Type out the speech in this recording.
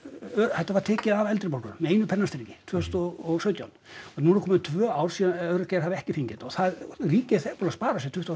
þetta var tekið af eldri borgurum með einu pennastriki tvö þúsund og sautján og nú eru komin tvö ár síðan öryrkjar hafa ekki fengið þetta og það ríkið er þegar búið að spara sér tuttugu